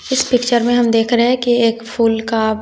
इस पिक्चर में हम देख रहे की एक फूल का--